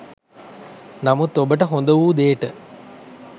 නමුත් ඔබට හොඳවූ දේට